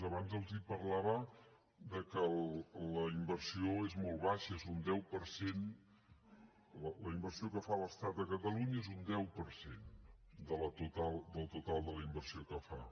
abans els parlava que la inversió és molt baixa és un deu per cent la inversió que fa l’estat a catalunya és un deu per cent del total de la inversió que fa